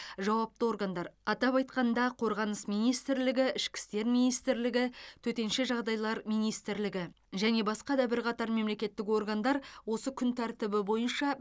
жауапты органдар атап айтқанда қорғаныс министрлігі ішкі істер министрлігі төтенше жағдайлар министрлігі және басқа да бірқатар мемлекеттік органдар осы күн тәртібі бойынша